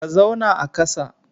Ka zauna a kasa.